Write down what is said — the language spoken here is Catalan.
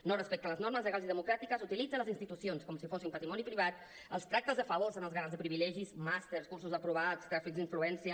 no respecta les normes legals i democràtiques utilitza les institucions com si fossin patrimoni privat els tractes de favors són els garants de privilegis màsters cursos aprovats tràfics d’influència